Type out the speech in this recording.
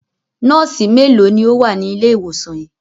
Nọ́ọ́sì mélòó ni ó wà ní ilé-ìwòsàn yìí?